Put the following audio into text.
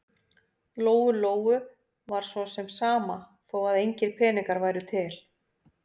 Lóu-Lóu var svo sem sama þó að engir peningar væru til.